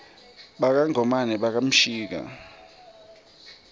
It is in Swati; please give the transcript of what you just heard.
baka ngomane baka mshika